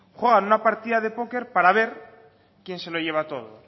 juegan una partida de póker para ver quién se lo lleva todo